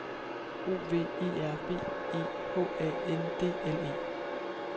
O V E R B E H A N D L E